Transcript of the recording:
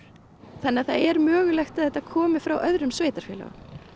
þannig að það er mögulegt að þetta komi frá öðrum sveitarfélögum